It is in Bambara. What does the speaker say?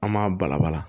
An m'a balabala